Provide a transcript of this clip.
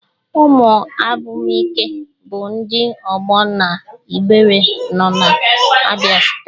Ụmụnnabuike bụ ndị ọgbọ na Igbere nona Abia steeti